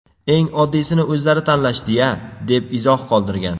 Eng oddiysini o‘zlari tanlashdi-ya”, deb izoh qoldirgan .